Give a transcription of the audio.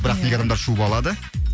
бірақ неге адамдар шуба алады